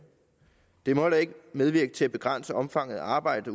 det må heller ikke medvirke til at begrænse omfanget af arbejde